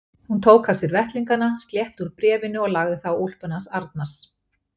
Hún tók af sér vettlingana, slétti úr bréfinu og lagði það á úlpuna hans Arnars.